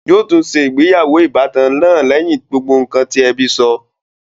Yóò tún se ìgbéyàwó ìbátan náà lẹ́yìn gbogbo ǹkan tí ẹbí sọ